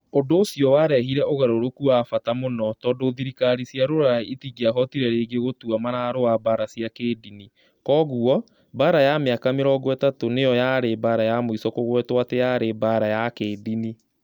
Ũndũ ũcio warehire ũgarũrũku wa bata mũno, tondũ thirikari cia Rũraya itingĩahotire rĩngĩ gũtua mararũa mbaara cia kĩĩndini. Kwoguo, Mbaara ya Mĩaka Mĩrongo Ĩtatũ nĩ yo yarĩ mbaara ya mũico kũgwetwo atĩ yarĩ mbaara ya kĩĩndini.